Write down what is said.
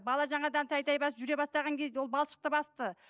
бала жаңадан тәй тәй басып жүре бастаған кезде ол балшықты басты